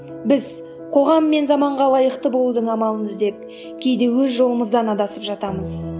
біз қоғам мен заманға лайықты болудың амалын іздеп кейде өз жолымыздан адасып жатамыз